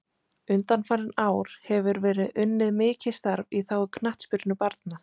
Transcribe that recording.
Undanfarin ár hefur verið unnið mikið starf í þágu knattspyrnu barna.